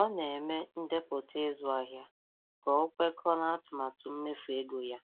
Ọ na-eme ndepụta ịzụ ahịa ka ọ kwekọọ n'atụmatụ mmefu ego ya